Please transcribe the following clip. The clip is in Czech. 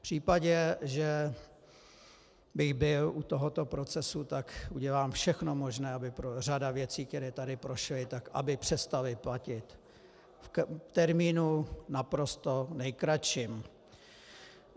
V případě, že bych byl u tohoto procesu, tak udělám všechno možné, aby řada věcí, které tady prošly, tak aby přestaly platit v termínu naprosto nejkratším.